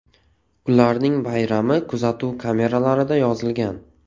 Ularning bayrami kuzatuv kameralarida yozilgan.